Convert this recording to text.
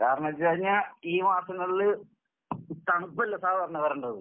കാരണവെച്ചുകഴിഞ്ഞാൽ, ഈ മാസങ്ങളില് തണുപ്പല്ലേ സാധാരണ വരണ്ടത്?